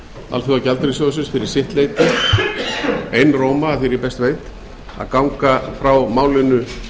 alþjóðagjaldeyrissjóðsins fyrir sitt leyti einróma að því er ég best veit að ganga frá málinu